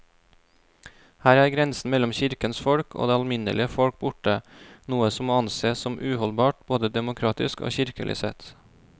Her er grensen mellom kirkens folk og det alminnelige folk borte, noe som må ansees som uholdbart både demokratisk og kirkelig sett.